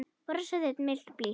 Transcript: Bros þitt milt og blítt.